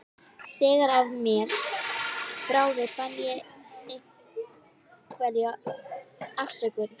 Þegar af mér bráði fann ég einhverja afsökun.